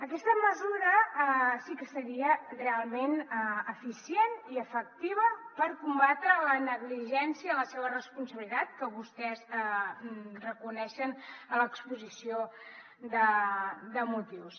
aquesta mesura sí que seria realment eficient i efectiva per combatre la negligència la seva irresponsabilitat que vostès reconeixen a l’exposició de motius